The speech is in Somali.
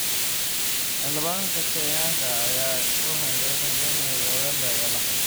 Xildhibaanka Kenyanka ah ee 'u hanjabay' Tanzania iyo Uganda ayaa la xiray